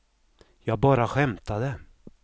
jag bara skämtade